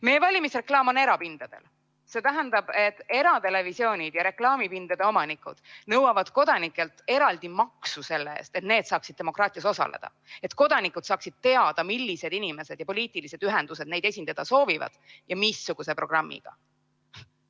Meie valimisreklaam on erapindadel, see tähendab, et eratelevisioonid ja reklaamipindade omanikud nõuavad kodanikelt eraldi maksu selle eest, et need saaksid demokraatias osaleda, et kodanikud saaksid teada, millised inimesed ja poliitilised ühendused neid esindada soovivad ja missuguse programmiga.